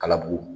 Kalabugu